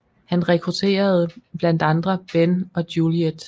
Han rekrutterede blandt andre Ben og Juliet